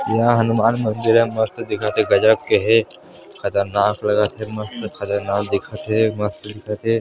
यहाँ हनुमान मंदिर हे मस्त दिखत हे गजब के हे खतरनाक लगत हे मस्त खतरनाक दिखत हे मस्त दिखत हे।